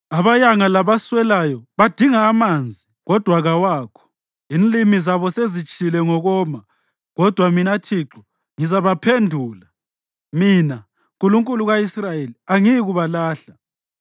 Abayanga labaswelayo badinga amanzi, kodwa kawakho; inlimi zabo sezitshile ngokoma. Kodwa mina Thixo ngizabaphendula; mina, Nkulunkulu ka-Israyeli, angiyikubalahla.